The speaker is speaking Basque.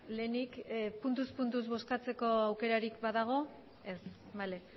lehenik puntuz puntuz bozkatzeko aukerarik badago ez bale